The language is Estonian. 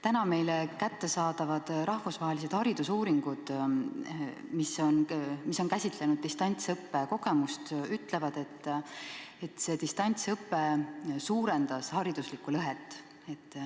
Täna meile kättesaadavad rahvusvahelised haridusuuringud, mis käsitlevad distantsõppe kogemust, ütlevad, et distantsõpe suurendas hariduslikku lõhet.